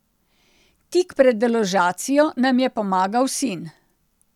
Tik pred deložacijo nam je pomagal sin.